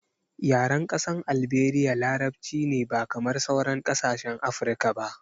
Yaren ƙasar Alberia larabci ne ba kamar sauran kasashen Afirka ba